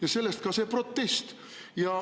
Ja sellest ka see protest.